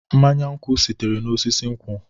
Mmanye nkwụ sitere n'osisi nkwụ.